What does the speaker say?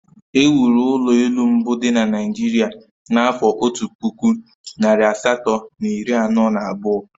E wuru ụlọ elụ mbụ dị na Naịjirịa n'afọ Otu puku, narị asatọ na iri anọ na abụọ